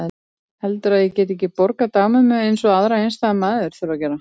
Heldurðu að ég geti ekki borgað dagmömmu eins og aðrar einstæðar mæður þurfa að gera?